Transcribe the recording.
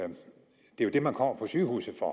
det er jo det man kommer på sygehuset for